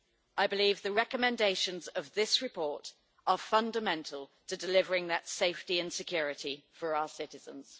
I believe the recommendations in this report are fundamental to delivering that safety and security to our citizens.